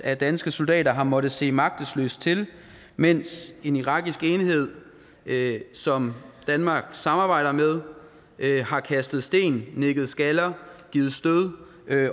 at danske soldater har måttet se magtesløse til mens en irakisk enhed som danmark samarbejder med har kastet sten nikket skaller og givet stød